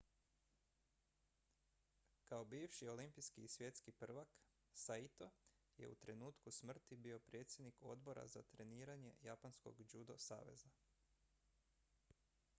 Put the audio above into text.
kao bivši olimpijski i svjetski prvak saito je u trenutku smrti bio predsjednik odbora za treniranje japanskog judo saveza